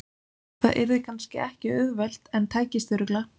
Það yrði kannski ekki auðvelt en tækist örugglega.